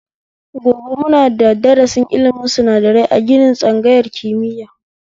Gobe muna da darasi ilimin sinadarai a ginin tsangayar kimiya